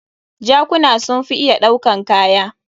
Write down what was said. Jakuna sun fi iya ɗaukan kaya.